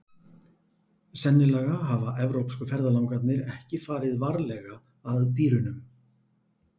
Sennilega hafa evrópsku ferðalangarnir ekki farið varlega að dýrunum.